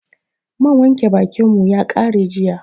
Man wanke bakin mu ya ƙare jiya